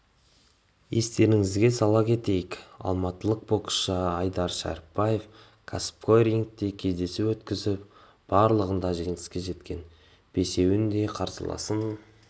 естеріңізге сала кетейік алматылық боксшы айдар шәрібаев кәсіпқой рингте кездесу өткізіп барлығында жеңіске жеткен бесеуінде қарсыласын